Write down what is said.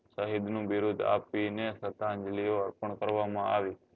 સહીદ નું બિરુદ આપી ને શ્રધાન્જલીઓ અર્પણ કરવા માં આવી